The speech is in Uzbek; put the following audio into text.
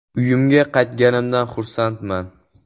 “Uyimga qaytganimdan xursandman.